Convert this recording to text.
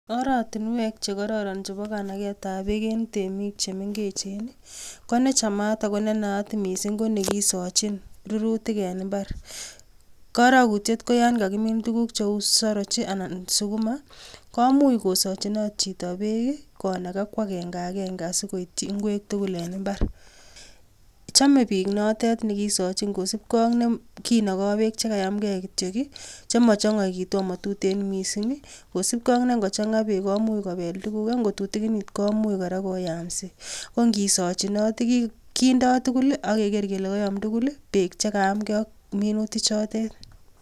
Oratinweek che kororon chebo kanagetab beek en temik che mengechen ii konechamat ago ne naat mising ko nekisochin rurutik en mbar. Korokutyet ko yon kagimin tuguk cheu saroch ii anan sukuma komuch kosochinot chito beek ii; konaga ko agenge agenge asi koityi ingwek tugul en mbar. Chome biik notet ne kisochin kosibge ak nekinogo beek che kayamge kityo chemo chong'oitu ama tuten mising kosibge ak ne ngochang'a beek komuch kobel tuguk ak ngo tutikinit komuch kora koyamsi. Ko ngisochinot kindo tugul ak keger kele koyom tugul beek che kayamge ak minutik chotet.